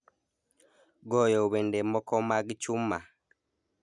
goyo wende moko mag chuma